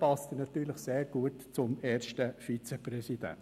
Damit passt er natürlich gut zum ersten Vizepräsidenten.